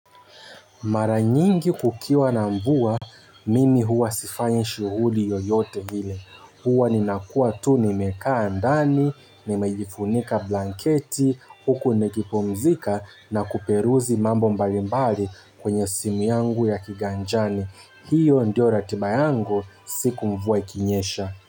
Maranyingi kukiwa na mvua, mimi huwa sifanyi shughuli yoyote ile. Huwa ninakuwa tu nimekaa ndani, nimejifunika blanketi, huku nikipumzika na kuperuzi mambo mbalimbali kwenye simu yangu ya kiganjani. Hiyo ndio ratiba yangu, siku mvua ikinyesha.